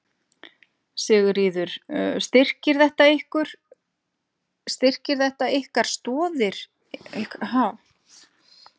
Sigríður: Styrkir þetta ykkar, stoðir ykkar, ykkar rannsókna?